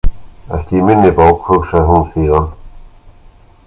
Ekki í minni bók, hugsaði hún síðan.